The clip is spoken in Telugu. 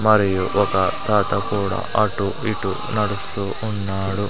మరియు ఒక తాత కూడా అటు ఇటూ నడుస్తూ ఉన్నాడు.